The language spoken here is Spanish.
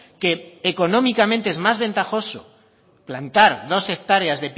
que económicamente es más ventajoso plantar dos hectáreas